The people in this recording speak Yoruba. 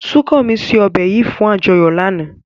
Sukanmi se ọbè yìí fún àjọyọ̀ náà.